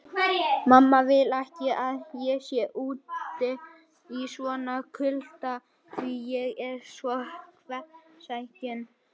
Yfirleitt telja menn hringi sem myndast í beinvef þeirra, svipað og hjá trjám.